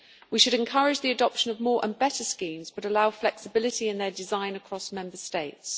We should encourage the adoption of more, and better, schemes but allow flexibility in their design across Member States.